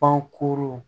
Pan koro